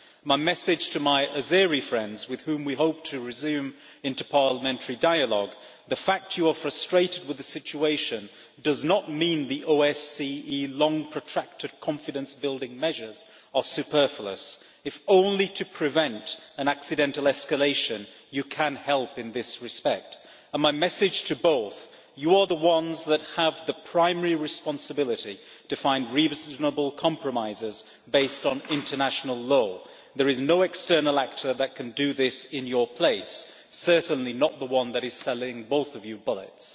My message to my Azeri friends, with whom we hope to resume interparliamentary dialogue, is that the fact that you are frustrated with the situation does not mean that the OSCE's long-protracted confidence-building measures are superfluous, if only to prevent an accidental escalation. You can help in this respect. My message to both is that you are the ones that have the primary responsibility to find reasonable compromises, based on international law. There is no external actor that can do this in your place, certainly not the one that is selling both of you bullets.